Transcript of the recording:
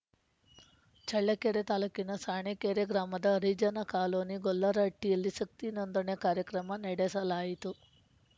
ಚಳ್ಳಕೆರೆ ತಾಲ್ಲೂಕಿನ ಸಾಣೀಕೆರೆ ಗ್ರಾಮದ ಹರಿಜನ ಕಾಲೋನಿ ಗೊಲ್ಲರಹಟ್ಟಿಯಲ್ಲಿ ಶಕ್ತಿ ನೊಂದಣೆ ಕಾರ್ಯಕ್ರಮ ನಡೆಸಿಲಾಯಿತು